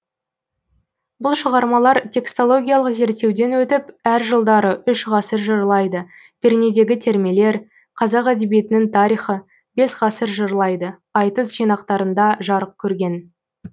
бұл шығармалар текстологиялық зерттеуден өтіп әр жылдары үш ғасыр жырлайды пернедегі термелер қазақ әдебиетінің тарихы бес ғасыр жырлайды айтыс жинақтарында жарық көрген